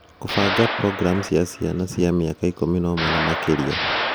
kũbanga Programu cia Ciana cia Mĩaka 11 na makĩria